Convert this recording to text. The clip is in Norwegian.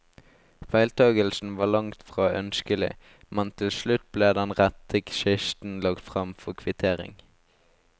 Feiltakelsen var langtfra ønskelig, men til slutt ble den rette kisten lagt frem for kvittering.